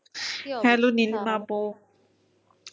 hello হ্যাঁ বল